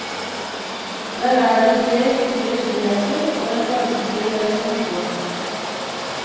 Der er det tre store skiheiser og en varmestue der vi kan hygge oss.